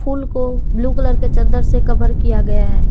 फूल को blue colour के चद्दर से कभर किया गया है।